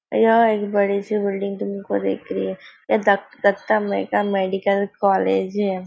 यह एक बड़ी सी बिल्डिंग तुमको दिख रही है हे दत्त दत्ता मै का मेडिकल कोलेज है।